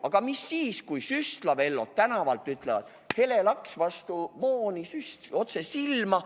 Aga mis siis, kui Süstla-Vellod tänavalt pakuvad: hele laks vastu mooni, süst otse silma?